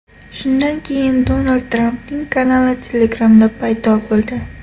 Shundan keyin Donald Trampning kanali Telegram’da paydo bo‘ldi.